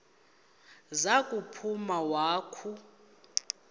za kuphuma wakhu